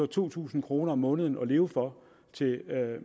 to tusind kroner om måneden at leve for til